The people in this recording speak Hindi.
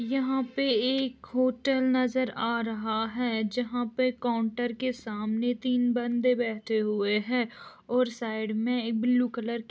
यहाँ पे एक होटल नज़र आ रहा हैं जहाँ पे काउन्टर के सामने तीन बंदे बैठे हुए है और साइड मे एक ब्लू कलर की --